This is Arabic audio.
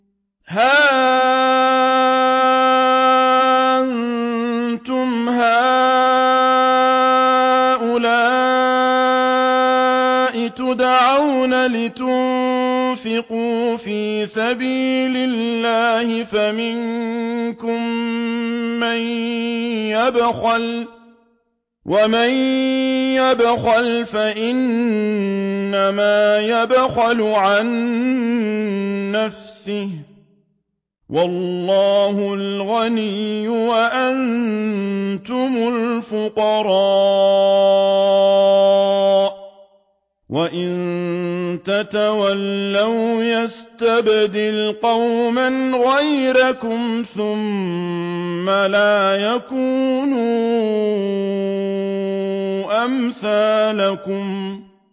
هَا أَنتُمْ هَٰؤُلَاءِ تُدْعَوْنَ لِتُنفِقُوا فِي سَبِيلِ اللَّهِ فَمِنكُم مَّن يَبْخَلُ ۖ وَمَن يَبْخَلْ فَإِنَّمَا يَبْخَلُ عَن نَّفْسِهِ ۚ وَاللَّهُ الْغَنِيُّ وَأَنتُمُ الْفُقَرَاءُ ۚ وَإِن تَتَوَلَّوْا يَسْتَبْدِلْ قَوْمًا غَيْرَكُمْ ثُمَّ لَا يَكُونُوا أَمْثَالَكُم